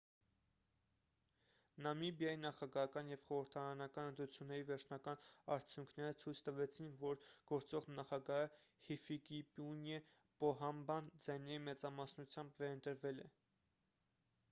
նամիբիայի նախագահական և խորհրդարանական ընտրությունների վերջնական արդյունքները ցույց տվեցին որ գործող նախագահը հիֆիկեպունյե պոհամբան ձայների մեծամասնությամբ վերընտրվել է